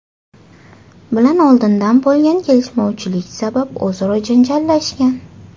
bilan oldindan bo‘lgan kelishmovchilik sabab o‘zaro janjallashgan.